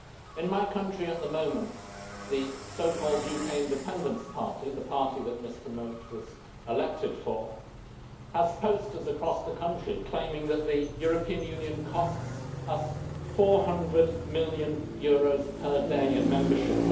In my country at the moment the so called UK Independence Party the party that Mr Mote was elected for has posters across the country claiming that the European Union costs us EUR 400 million per day in membership.